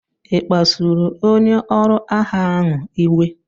Ị kpasuru onye ọrụ agha ahụ iwe?